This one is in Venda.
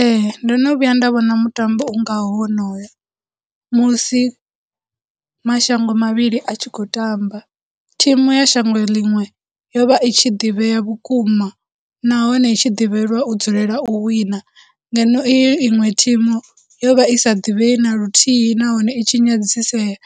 Ee, ndo no vhuya nda vhona mutambo ungaho wonoyo, musi mashango mavhili a tshi khou tamba, thumu ya shango ḽiṅwe yo vha i tshi ḓivhea vhukuma, nahone i tshi ḓivhelwa u dzulela u wina, ngeno iyi iṅwe thimu, yo vha i sa divhei na luthihi nahone i tshi nyadzisea,